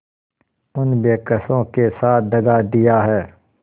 उन बेकसों के साथ दगा दिया है